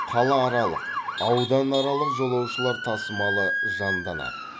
қалааралық ауданаралық жолаушылар тасымалы жанданады